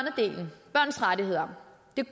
så rettigheder